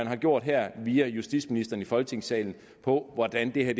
har gjort her via justitsministeren i folketingssalen på hvordan det her